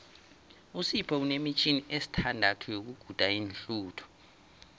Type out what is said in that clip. usipho unemitjhini esithandathu yokuguda iinhluthu